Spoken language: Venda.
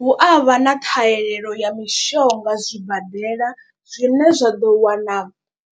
Hu a vha na ṱhahelelo ya mishonga zwibadela zwine zwa ḓo wana